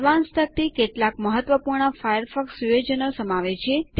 advanced તકતી કેટલાક મહત્વપૂર્ણ ફાયરફોકસ સુયોજનો સમાવે છે